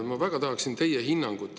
Ma väga tahaksin sellele teie hinnangut.